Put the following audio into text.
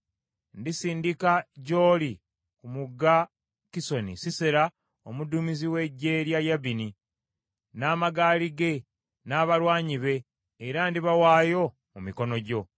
Ndisindika gy’oli ku mugga Kisoni, Sisera omuduumizi w’eggye lya Yabini, n’amagaali ge n’abalwanyi be era ndibawaayo mu mikono gyo.’ ”